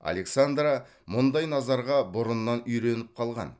александра мұндай назарға бұрыннан үйреніп қалған